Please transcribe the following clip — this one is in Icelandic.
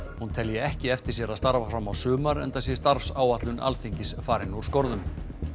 hún telji ekki eftir sér að starfa fram á sumar enda sé starfsáætlun Alþingis farin úr skorðum